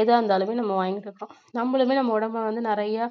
எதா இருந்தாலுமே நம்ம வாங்கிடணும் நம்மளுமே நம்ம உடம்பை வந்து நிறைய